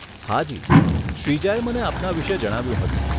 હાજી, શ્રીજાએ મને આપના વિષે જણાવ્યું હતું.